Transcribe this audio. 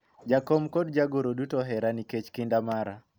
jakom kod jagoro duto ohera nikech kinda mara